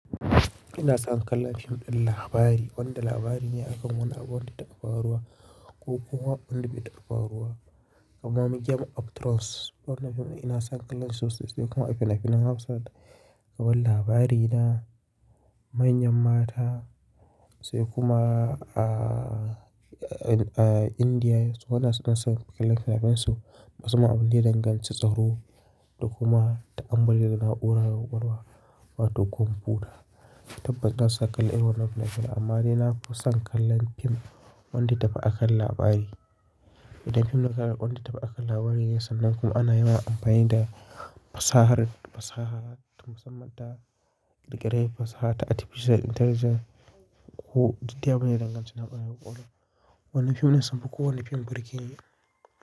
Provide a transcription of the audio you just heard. Ina son kallon fim ɗin labari wanda labari ne akan wani abu wanda da ta taba faruwa ko kuma wanda bai faruwa kamar Medium of Thrones. Wannan fim ina son kallon su sai kuma a fili a fili na Hausa da labari na manyan mata sai kuma a Indiya su suna son kallon fim su masu abubuwan da danganci, tsaro da kuma ta ammamali da na'urar gogewa wato kwamfuta. Tabbas ina son kallon irin wannan fim amma dai na kusan kallon fim wanda ya tafi akan labari. Inda fim na kala wanda ya tafi akan labari yasa nan kuma ana yiwa amfani da fasahar, fasaha ta musamman ta riƙere fasaha ta Artificial Intelligence ko duk abune danganci na amfani da kwamfuta. Wannan fim na so ko wannan fim burge ne.